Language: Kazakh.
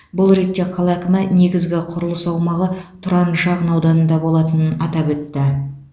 бұл ретте қала әкімі негізгі құрылыс аумағы тұран шағын ауданында болатынын атап өтті